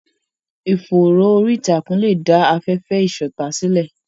Ìfòòró orí ìtàkùn lè dá afẹ́fẹ́ ìṣọ̀tá sílẹ̀.